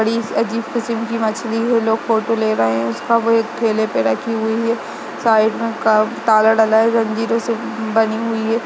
बड़ी अजीब किस्म की मछली है लोग फ़ोटो ले रहें हैं उसका वे एक थेले पे रखी हुई है साइड मे ताला डाला जंजीरों से बंधी हुई है ।